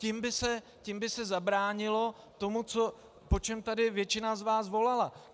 Tím by se zabránilo tomu, po čem tady většina z vás volala.